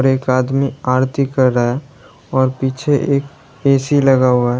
एक आदमी आरती कर रहा है और पीछे एक ए_सी लगा हुआ है।